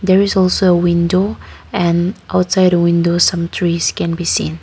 there is also a window and outside windows some trees can be seen.